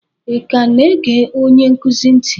ị ka na-ege onye nkuzi ntị?